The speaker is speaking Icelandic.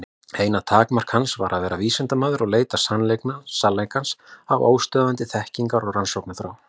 Eina takmark hans var að vera vísindamaður og leita sannleikans af óstöðvandi þekkingar- og rannsóknarþrá.